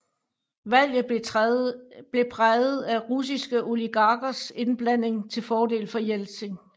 Valget blev præget af russiske oligarkers indblanden til fordel for Jeltsin